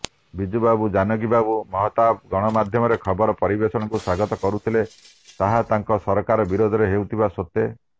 ବିଜୁବାବୁ ଜାନକୀବାବୁ ମହତାବ ଗଣମାଧ୍ୟମର ଖବର ପରିବେଷଣକୁ ସ୍ୱାଗତ କରୁଥିଲେ ତାହା ତାଙ୍କ ସରକାର ବିରୋଧରେ ହେଉଥିବା ସତ୍ୱେ